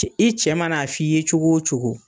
Cɛ i cɛ ma na f'i ye cogo cogo